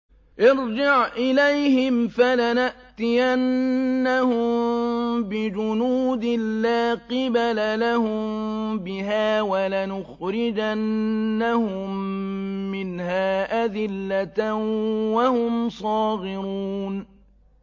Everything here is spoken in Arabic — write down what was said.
ارْجِعْ إِلَيْهِمْ فَلَنَأْتِيَنَّهُم بِجُنُودٍ لَّا قِبَلَ لَهُم بِهَا وَلَنُخْرِجَنَّهُم مِّنْهَا أَذِلَّةً وَهُمْ صَاغِرُونَ